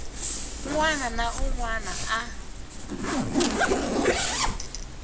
wana na un wana a